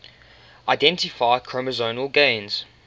identify chromosomal gains